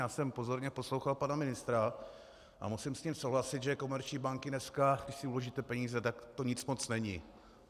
Já jsem pozorně poslouchal pana ministra a musím s ním souhlasit, že komerční banky dneska, když si uložíte peníze, tak to nic moc není.